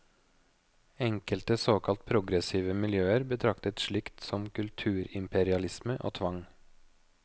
Enkelte såkalt progressive miljøer betraktet slikt som kulturimperialisme og tvang.